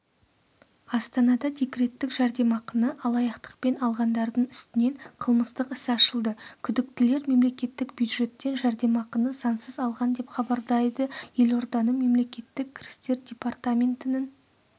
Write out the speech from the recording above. астанада декреттік жәрдемақыны алаяқтықпен алғандардың үстінен қылмыстық іс ашылды күдіктілер мемлекеттік бюджеттен жәрдемақыны заңсыз алған деп хабарлайды елорданың мемлекеттік кірістер департаментінің